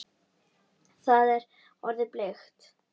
Það er orðið bleikt!